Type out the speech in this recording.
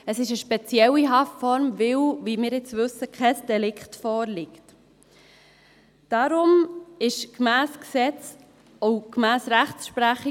Das ist eine spezielle Haftform, weil kein Delikt vorliegt, wie wir jetzt wissen.